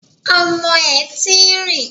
Ọmọ ẹ̀ ti ń rìn